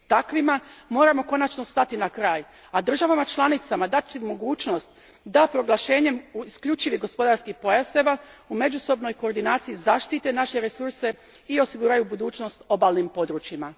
Takvima moramo konačno stati na kraj, a državama članicama dati mogućnost da proglašenjem isključivih gospodarskih pojaseva u međusobnoj koordinaciji zaštite naše resurse i osiguraju budućnost obalnim područjima.